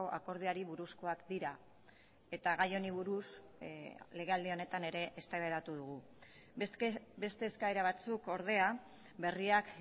akordioari buruzkoak dira eta gai honi buruz legealdi honetan ere eztabaidatu dugu beste eskaera batzuk ordea berriak